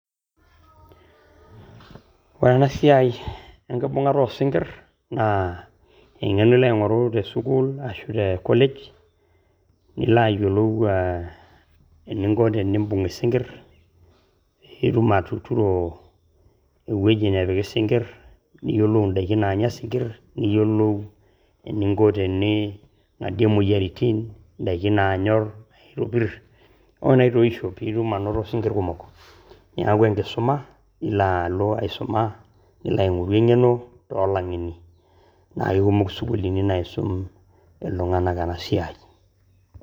Ore ena siaai enkibungata oo sinkir naa engeno ilo aing'oru te sukuul ashu te college nilo ayelou eninko teniimbung' eisinkirr piitum atuturo eweji napiki sinkirr, niyolou endaki naanya sinkirr ,niyolou eninko tening'atie moyaritin ndaki naanyorr, naitopir oo naitoisho piitum anoto sinkirr kumok, neaku inkisuma ilo aalo aisuma nilo aing'oru engeno o laing'eni, naa ekumok sukulini naisum ltung'anak ena siaai.